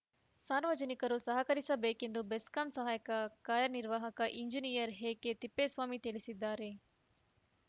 ಸಾರ್ವಜನಿಕರು ಸಹಕರಿಸಬೇಕೆಂದು ಬೆಸ್ಕಾಂ ಸಹಾಯಕ ಕಾರ್ಯನಿರ್ವಾಹಕ ಇಂಜಿನಿಯರ್‌ ಎಕೆತಿಪ್ಪೇಸ್ವಾಮಿ ತಿಳಿಸಿದ್ದಾರೆ